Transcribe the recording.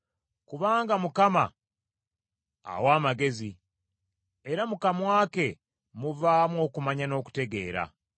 Kubanga Mukama awa amagezi; era mu kamwa ke muvaamu okumanya n’okutegeera.